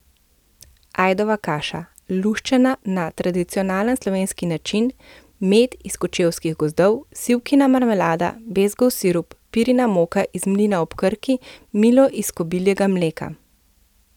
Ajdova kaša, luščena na tradicionalen slovenski način, med iz kočevskih gozdov, sivkina marmelada, bezgov sirup, pirina moka iz mlina ob Krki, milo iz kobiljega mleka...